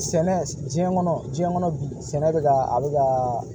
Sɛnɛ diɲɛ kɔnɔ diɲɛ kɔnɔ bi sɛnɛ bɛ ka a bɛ ka